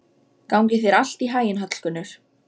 Gangi þér allt í haginn, Hallgunnur.